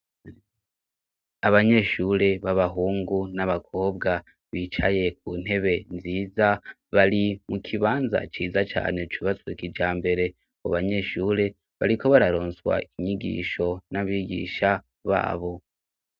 Abanyeshure b'abahungu n'abakobwa bicaye ku ntebe nziza bari mu kibanza ciza cane cubatswe kijambere mu banyeshure bariko bararonswa inyigisho n'abigisha babo.